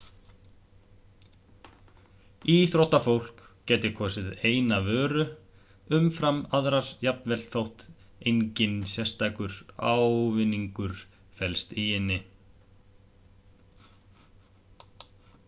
íþróttafólk gæti kosið eina vöru umfram aðrar jafnvel þótt enginn sérstakur ávinningur felist í henni